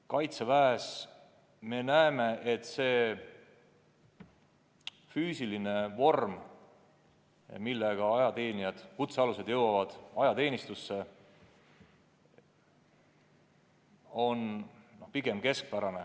Kaitseväes me näeme, et füüsiline vorm, millega kutsealused jõuavad ajateenistusse, on pigem keskpärane.